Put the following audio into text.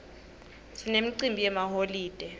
sinemicimbi yemaholide